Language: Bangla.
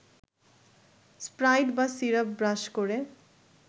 স্প্রাইট বা সিরাপ ব্রাশ করে